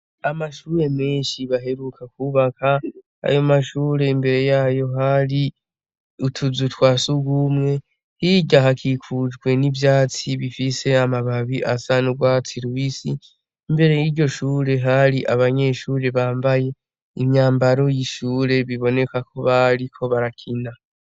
Amashure menshi baheruka kubaka. Ayo mashure imbere yayo hari utuzu twa sugumwe. Hirya hakikujwe n'ivyatsi bifise amababi asa n'ugwatsi rubisi. Imbere y'iryo shure hari abanyeshure bambaye imyambaro yiryo shure biboneka ko bariko barakina.